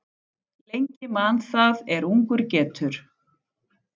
Lengi man það er ungur getur.